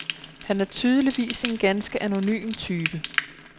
Han er tydeligvis en ganske anonym type.